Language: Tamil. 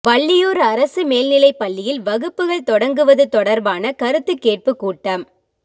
வள்ளியூா் அரசு மேல்நிலைப் பள்ளியில் வகுப்புகள் தொடங்குவது தொடா்பான கருத்து கேட்பு கூட்டம்